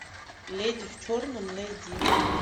леди в черном найди